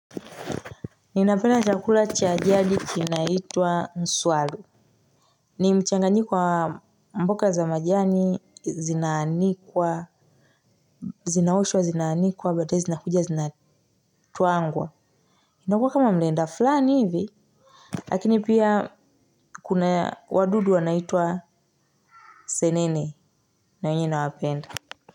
Ninapenda chakula cha jadi kinaitwa nswalu. Ni mchanganiko wa mboga za majani zinaanikwa. Zinaoshwa zinaanikwa baadae zinakuja zinatwangwa. Inakuwa kama mlenda fulani hivi. Lakini pia kuna wadudu wanaitwa senene na wenye nawapenda.